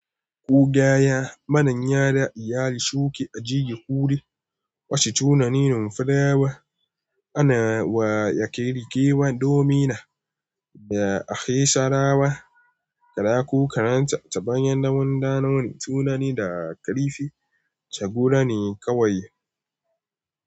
Ku gaya mana yadda ya shuke a jejin kure masu tunanin farawa ana wa ya kirkirowa domina da ake sarawa. Karaku karanta ta bayan namun ɗanomi tunani da kalifi ta guda ne kawai.